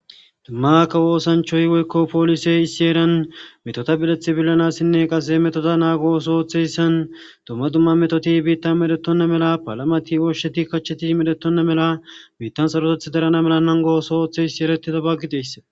Duma kawo osanchoy woyko polisey issi heran metota bileth bilanasinne qase he metoza nago ootho oothiyaysan dumma dumma metoti bittan medhetona mala palamat, oshat, kachat medhetona mala bittan saroteth darana mala nanigo ooso othiyays eretidaba gidiyayasa